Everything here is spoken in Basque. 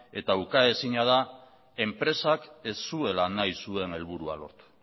eta ukaezina da enpresak ez zuela nahi zuen helburua lortu